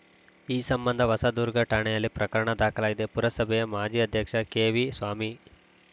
ಈ ಸಂಬಂಧ ಹೊಸದುರ್ಗ ಠಾಣೆಯಲ್ಲಿ ಪ್ರಕರಣ ದಾಖಲಾಗಿದೆ ಪುರಸಭೆಯ ಮಾಜಿ ಅಧ್ಯಕ್ಷ ಕೆವಿ ಸ್ವಾಮಿ